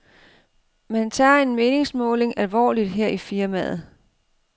Man tager en meningsmåling alvorligt her i firmaet.